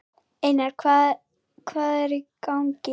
Einar, hvað hvað er í gangi?